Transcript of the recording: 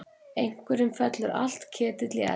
Einhverjum fellur allur ketill í eld